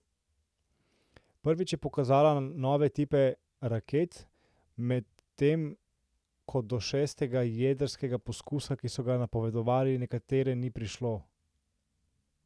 Prvič je pokazala nove tipe raket, medtem ko do šestega jedrskega poskusa, ki so ga napovedovali nekateri, ni prišlo.